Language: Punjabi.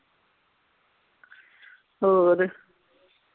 ਹੋਰ